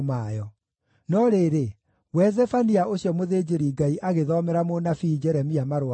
No rĩrĩ, we Zefania ũcio mũthĩnjĩri-Ngai agĩthomera mũnabii Jeremia marũa macio.